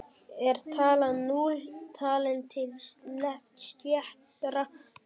Er talan núll talin til sléttra talna?